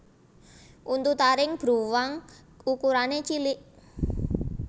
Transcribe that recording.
Untu taring bruwang ukurané cilik